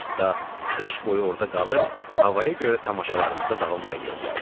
Hətta qış boyu orda qalıb, havaya görə tamaşalarımıza davam da eləyə bilərdik.